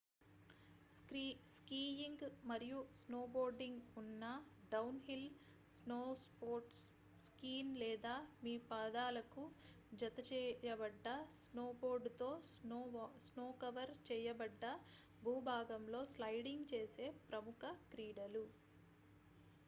skiing మరియు snowboarding ఉన్న downhill snow sports skis లేదా మీ పాదాలకు జతచేయబడ్డ స్నోబోర్డ్ తో స్నో-కవర్ చేయబడ్డ భూభాగంలో స్లైడింగ్ చేసే ప్రముఖ క్రీడలు